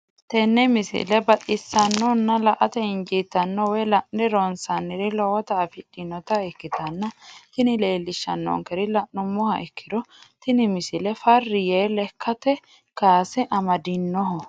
tenne misile baxisannonna la"ate injiitanno woy la'ne ronsannire lowote afidhinota ikkitanna tini leellishshannonkeri la'nummoha ikkiro tini misile farri yee lekkate kaase amadinoho.